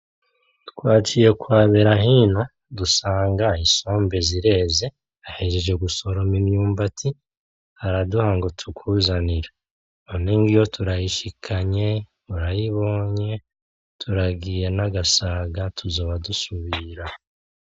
Twaciye kwa Berahino dusanga isombe zireze, ahejeje gusoroma imyumbati araduha ngo tukuzanire, none ngiyo turayishikanye urayibonye, turagiye n'agasaga tuzoba dusubira .